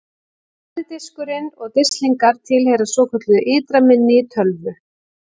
Harði diskurinn og disklingar tilheyra svokölluðu ytra minni í tölvu.